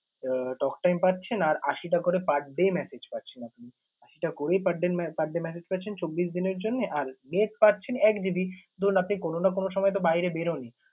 আহ talktime পাচ্ছেন আর আশি টা করে per day message পাচ্ছেন আপনি। আশিটা করেই per day per day message পাচ্ছেন চব্বিশ দিনের জন্যে, আর net পাচ্ছেন এক GB । ধরুন, আপনি কোন না কোন সময় তো বাইরে বের হনই